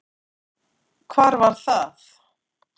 Hvar var það?